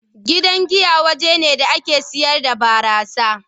Gidan giya waje ne da ake sayar da burasa.